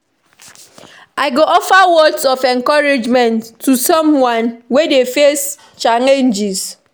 I go offer words of encouragement to someone wey dey face challenges.